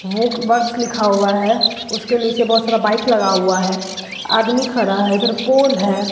वोक works लिखा हुआ है उसके नीचे बहोत सारा बाइक लगा हुआ है आदमी खड़ा है इधर पोल है।